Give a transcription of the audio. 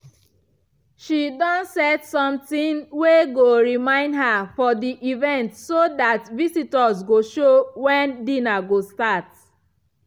she don set sometin wey go remind her for the event so that visitors go know wen dinner go start.